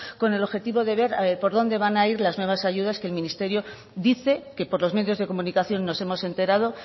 con el objetivo de ver por dónde van a ir las nuevas ayudas que el ministerio dice que por los medios de comunicación nos hemos enterado